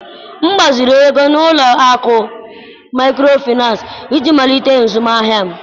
M gbaziri ego n'ụlọ akụ maịkrofịnans iji malite azụmahịa m.